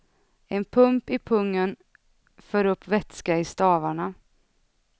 En pump i pungen för upp vätska i stavarna.